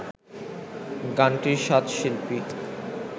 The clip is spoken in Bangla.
গানটির সাত শিল্পী